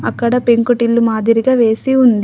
అక్కడ పెంకుటిల్లు మాదిరిగా వేసి ఉంది.